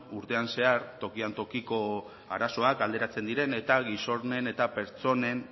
urtean zehar tokian tokiko arazoak alderatzen diren eta gizonen eta pertsonen